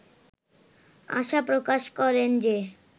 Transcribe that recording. আশা প্রকাশ করেন যে